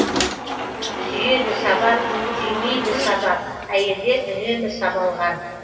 сүйеді сабап сүймейді сабап әйелдер үнемі сабалған